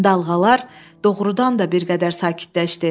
Dalğalar doğrudan da bir qədər sakitləşdi.